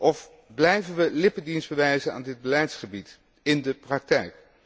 Of blijven we lippendienst bewijzen aan dit beleidsgebied, in de praktijk?